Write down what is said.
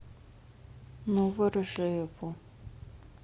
новоржеву